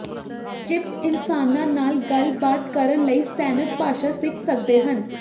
chips ਇਨਸਾਨਾਂ ਨਾਲ ਗੱਲਬਾਤ ਕਰਨ ਲਈ ਸੈਨਤ ਭਾਸ਼ਾ ਸਿੱਖ ਸਕਦੇ ਹਨ